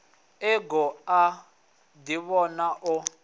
e goo a ḓivhona o